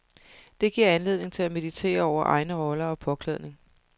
Det giver anledning til at meditere over egne roller og påklædning.